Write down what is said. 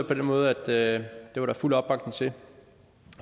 den måde at det var der fuld opbakning til